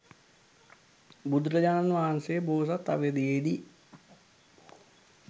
බුදුරජාණන් වහන්සේ බෝසත් අවධියේදී